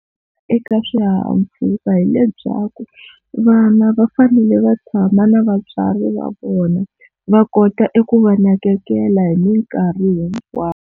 Eka swihahampfhuka hi lebyaku vana va fanele va tshama na vatswari va vona va kota eku va nakekela hi minkarhi hinkwayo.